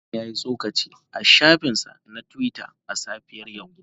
Hassan ya yi tsokaci a shafinsa na Twitter a safiyar yau.